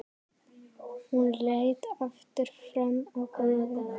Hún leit aftur fram á gólfið.